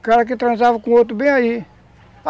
O cara que transava com o outro bem aí.